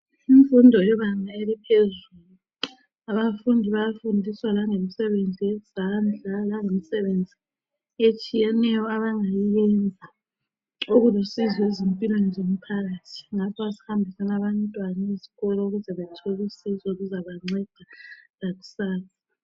Imfundo yebanga eliphezulu. Abafundi bayafundiswa langemisebenzi yezandla langemisebenzi etshiyeneyo abangayenza okulusizo ezimpilweni zomphakathi ngakho asihambiseni abantwana ezikolo ukuze bethole usizo oluzabanceda lakusasa.